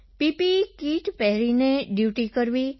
PPE kit પહેરીને duty કરવી